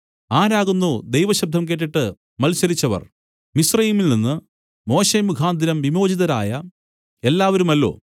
ആരാകുന്നു ദൈവശബ്ദം കേട്ടിട്ട് മത്സരിച്ചവർ മിസ്രയീമിൽനിന്ന് മോശെമുഖാന്തരം വിമോചിതരായ എല്ലാവരുമല്ലോ